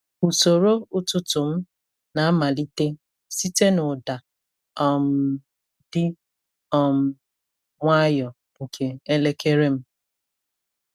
Usoro ụtụtụ m na-amalite site n’ụda um dị um nwayọọ nke elekere m.